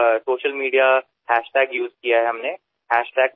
social मीडियावर आम्ही प्लास्टिकपवास या हॅशटॅगचा वापर केला